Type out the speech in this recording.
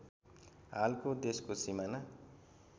हालको देशको सिमाना